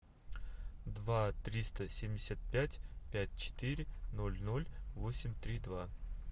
два триста семьдесят пять пять четыре ноль ноль восемь три два